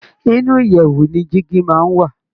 inú ìyèwù ni jígí máa ń wà.